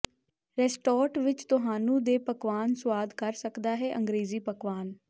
restaurant ਵਿੱਚ ਤੁਹਾਨੂੰ ਦੇ ਪਕਵਾਨ ਸੁਆਦ ਕਰ ਸਕਦਾ ਹੈ ਅੰਗਰੇਜ਼ੀ ਪਕਵਾਨ